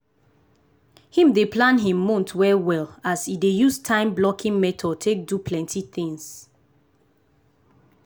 him dey plan him month well well as e dey use time blocking method take do plenty things.